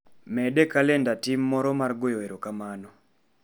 Med e kalenda tim moro mar goyo erokamano